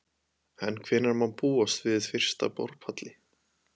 En hvenær má búast við fyrsta borpalli?